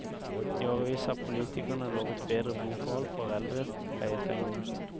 I årevis har politikerne lovet bedre boforhold for eldre pleietrengende.